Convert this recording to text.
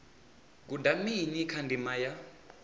guda mini kha ndima ya